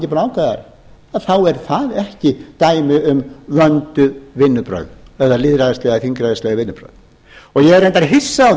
búið að ákveða það þá er það ekki dæmi um vönduð vinnubrögð eða lýðræðisleg eða þingræðisleg vinnubrögð ég er reyndar hissa